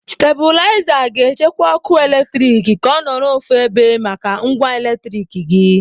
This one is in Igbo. Stebulaiza ga-echekwa ọkụ eletrik ka ọ nọrọ ofu ebe maka ngwa eletriki gị.